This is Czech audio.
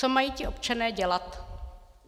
Co mají ti občané dělat?